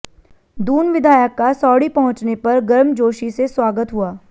दून विधायक का सौड़ी पहुंचने पर गर्मजोशी से स्वागत हुआ